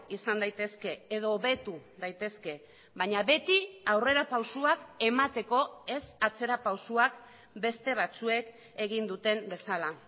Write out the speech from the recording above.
izan daitezke edo hobetu daitezke baina beti aurrerapausoak emateko ez atzerapausoak beste batzuek egin duten bezala